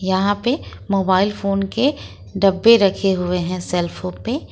यहां पे mobile phone के डब्बे रखे हुए हैं सेल फोन पे।